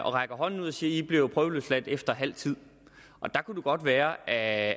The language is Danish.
og rækker hånden ud og siger i bliver prøveløsladt efter halv tid der kunne det godt være at